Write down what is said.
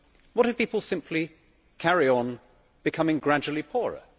What if people simply carry on becoming gradually poorer?